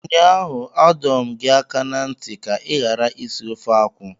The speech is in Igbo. Ụnyaahụ adọ m gị aka na ntị ka ị ghara isi ofe akwụ!